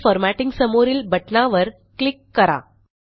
खाली फॉर्मॅटिंग समोरील बटणावर क्लिक करा